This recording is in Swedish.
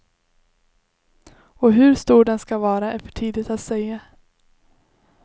Och hur stor den ska vara är för tidigt att säga.